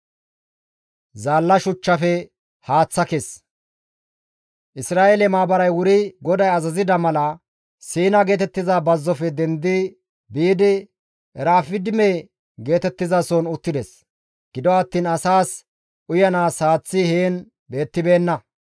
Isra7eele maabaray wuri GODAY azazida mala Siina geetettiza bazzofe dendi biidi Erafidime geetettizason uttides; gido attiin asaas uyanaas haaththi heen beettibeenna.